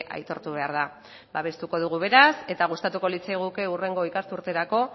aitortu behar da babestuko dugu beraz eta gustatuko litzaiguke hurrengo ikasturterako